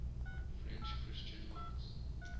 french christian monks